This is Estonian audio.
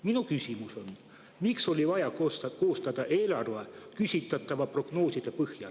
Minu küsimus on, miks oli vaja koostada eelarve küsitava prognoosi põhjal.